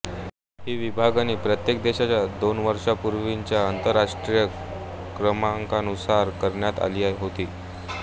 ही विभागणी प्रत्येक देशाच्या दोन वर्षांपूर्वीच्या आंतरराष्ट्रीय क्रमांकानुसार करण्यात आली होती